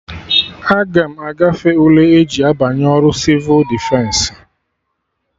Aga m agafe ule eji abanye ọrụ Sịvụ Defensị